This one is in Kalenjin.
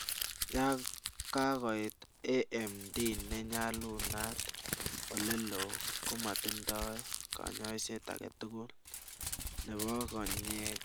ya kokoit AMD ne nyalunat olelo komatindai kanyaiset age tugu nebo konyek